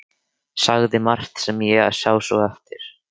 Sagði margt sem ég sá svo eftir.